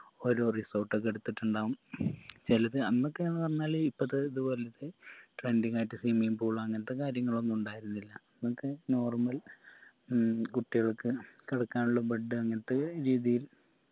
ഒരു resort ഒക്കെ എടുത്തിട്ടുണ്ടാവും ചെലത് അന്നൊക്കെ ന്ന് പറഞ്ഞാല് ഇപ്പത്തെ ഇത് പോലത്തെ trending ആയിട്ട് swimming pool അങ്ങൻത്തെ കാര്യങ്ങളൊന്നു ഇണ്ടായിരുന്നില്ല അന്നൊക്കെ normal ഉം കുട്ടിയാൾക്ക് കിടക്കാനുള്ള bed അങ്ങൻത്തെ രീതിയിൽ